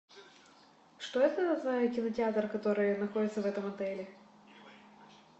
что это за кинотеатр который находится в этом отеле